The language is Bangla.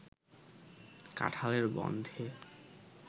কাঠাঁলের গন্ধে